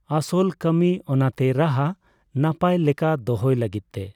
ᱟᱥᱚᱞ ᱠᱟᱹᱢᱤ ᱾ ᱚᱱᱟᱛᱮ ᱨᱟᱦᱟ ᱱᱟᱯᱟᱭ ᱞᱮᱠᱟ ᱫᱚᱦᱚᱭ ᱞᱟᱹᱜᱤᱫ ᱛᱮ